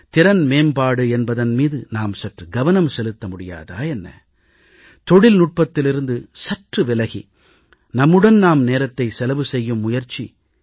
திறன் மேம்பாடு என்பதன் மீது நாம் சற்று கவனம் செலுத்த முடியாதா என்ன தொழில்நுட்பத்திலிருந்து சற்று விலகி நம்முடன் நாம் நேரத்தை செலவு செய்யும் முயற்சி